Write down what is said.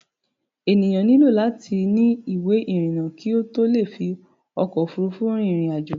Enìyàn nílò láti ni ìwé ìrìnà kí ó tó le fi ọkò òfurufú rin ìrìn àjò.